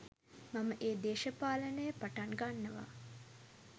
මම ඒ දේශපාලනය පටන් ගන්නවා